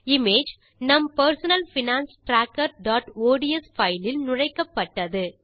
image நம் personal finance trackerஒட்ஸ் file இல் நுழைக்கப்பட்டது